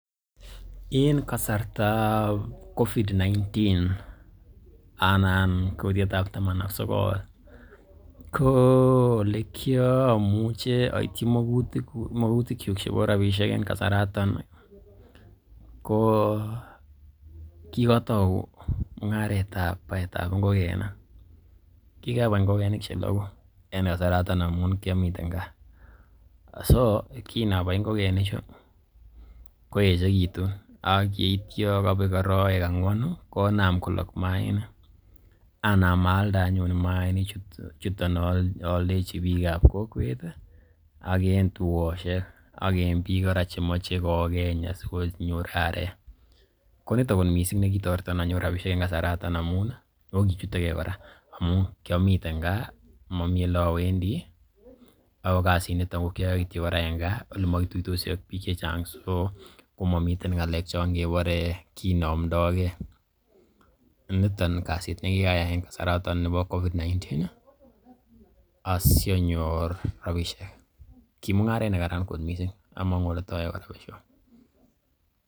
En kasartab covid-19 anan kutiet ab taman ak sogol ko ole kiamuche oityi magutikyuk chebo rabishek en kasaratok ii ko kigotou mung'aret ab baetab ngokenik. Kigabai ngokenik che logu en kasaraton ngamun kiomiten gaa. So kinabai ngokenichu, koechekitun ak yeityo kobek arawek angwanu konam kolok maainik. Anam aalde anyun maainichuton, oldechi biikab kokwet ak en tugosiek ak en biik kora chemoche kogeny asikonyor arek. Ko nito kot mising nekitoreton anyor rabishek en kasaraton amun i, oh kichutege kora amun kyomiten gaa, momi ole awendi ago kasinito ko kioyoe kora en gaa ole mokituitosi ak biik che chang so komomiten ngalek chon kebore kinomdoi ge. Niton kasit ne kikayai en kasaraton bo covid-19 asianyor rabishek. Ki mung'aret nekara kot mising, among'u ole tooyoe kora besyo.